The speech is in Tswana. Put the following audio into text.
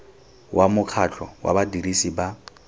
wa mokgatlho wa badirisi ba